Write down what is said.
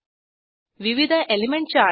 विविध element charts